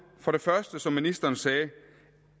som ministeren sagde